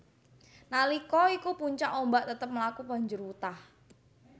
Nalika iku puncak ombak tetep mlaku banjur wutah